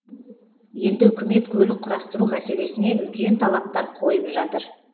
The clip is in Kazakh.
енді үкімет көлік құрастыру мәселесіне үлкен талаптар қойып жатыр